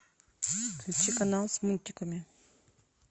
включи канал с мультиками